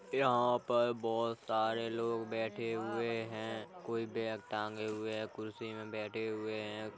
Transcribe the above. यहां पर बहुत सारे लोग बैठे हुए हैं कोई बैग टाॅगे हुए हैं कुर्सी में बैठे हुए हैं।